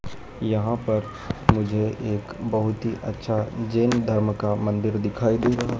यहां पर मुझे एक बहुत ही अच्छा जैन धर्म का मंदिर दिखाई दे रहा है।